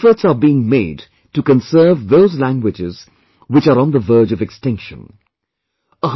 That means, efforts are being made to conserve those languages which are on the verge of extinction